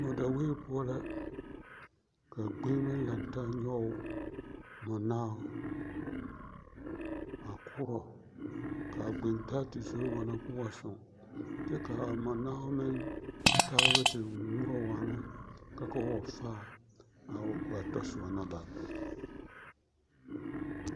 Mɔdaweɛ poɔ la ka gbeŋeme lantaa nyɔge mɔnao a koorɔ k'a gbentaa te zoro waana k'o wa soŋ kyɛ k'a mɔnao meŋ taaba te ŋmorɔ waana ka k'o wa faa a o ba tɔsoba na bare.